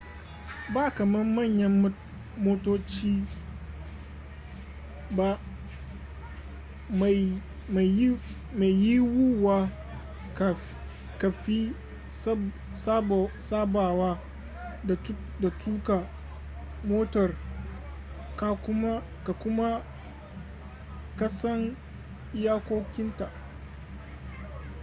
ba kaman manyan motoci ba maiyiwuwa kafi sabawa da tuka motar ka kuma kasan iyakokinta